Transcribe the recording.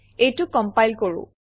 এইটো কমপাইল কৰোঁ